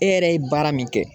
E yɛrɛ ye baara min kɛ